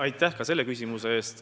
Aitäh ka selle küsimuse eest!